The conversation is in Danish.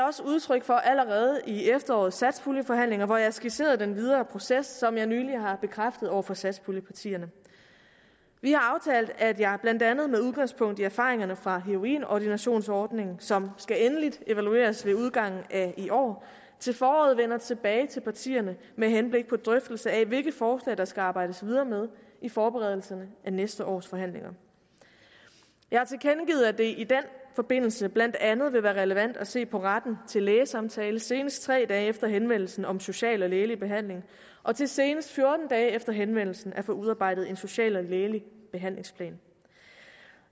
også udtryk for allerede i efterårets satspuljeforhandlinger hvor jeg skitserede den videre proces som jeg for nylig har bekræftet over for satspuljepartierne vi har aftalt at jeg blandt andet med udgangspunkt i erfaringerne fra heroinordinationsordningen som skal endeligt evalueres ved udgangen af i år til foråret vender tilbage til partierne med henblik på drøftelse af hvilke forslag der skal arbejdes videre med i forberedelsen af næste års forhandlinger jeg har tilkendegivet at det i den forbindelse blandt andet vil være relevant at se på retten til lægesamtale senest tre dage efter henvendelsen om social og lægelig behandling og til senest fjorten dage efter henvendelsen at få udarbejdet en social og lægelig behandlingsplan